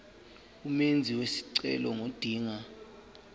umenzi wesicelo ngodinga